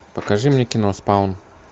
покажи мне кино спаун